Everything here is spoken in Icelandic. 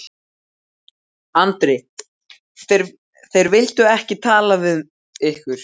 Andri: Þeir vildu ekki tala við ykkur?